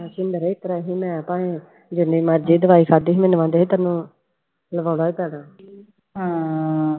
ਸਿੰਦਰ ਇਸ ਤਰ੍ਹਾਂ ਸੀ ਮੈਂ ਭਾਵੇਂ ਜਿੰਨੀ ਮਰਜ਼ੀ ਦਵਾਈ ਖਾਧੀ ਸੀ ਮੈਨੂੰ ਕਹਿੰਦੇ ਤੈਨੂੰ ਲਵਾਉਣਾ ਹੀ ਪੈਣਾ ਹਾਂ